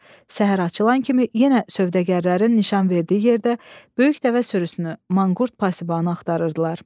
Səhər açılan kimi yenə sövdəgərlərin nişan verdiyi yerdə böyük dəvə sürüsünü, manqurt pasibanı axtarırdılar.